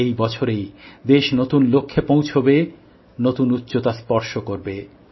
এই বছরেই দেশ নতুন লক্ষ্যে পৌঁছাবে নতুন উচ্চতা স্পর্শ করবে